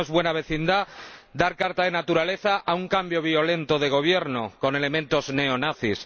Porque no es buena vecindad dar carta de naturaleza a un cambio violento de gobierno con elementos neonazis